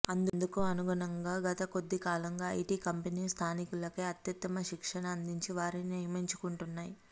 అందుకు అనుగుణంగా గత కొద్ది కాలంగా ఐటీ కంపెనీలు స్థానికులకే అత్యుత్తమ శిక్షణ అందించి వారిని నియమించుకుంటున్నాయి